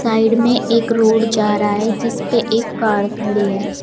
Side में एक road जा रहा है जिस पे एक कार खड़ी है।